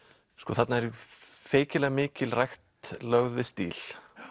þarna er feikilega mikil rækt lögð við stíl